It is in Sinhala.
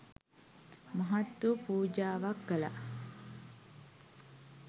මහත් වූ පූජාවක් කළා.